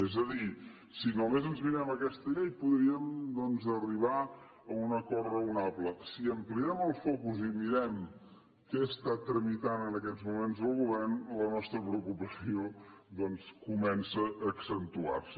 és a dir si només ens mirem aquesta llei podríem doncs arribar a un acord raonable si ampliem el focus i mirem què tramita en aquests moments el govern la nostra preocupació comença a accentuar se